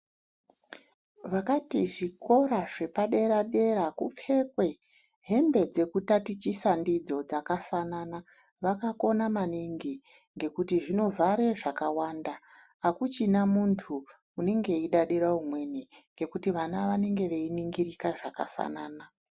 Vakati zvikora zvepa dera dera kupfekwe hembe dzekutatichisa ndidzo dzakafanana vakakona maningi ngekuti zvinovhare zvakawanda akuchina muntu unenge eidadira umweni ngekuti vana vanenge veiningirika zvakafanana.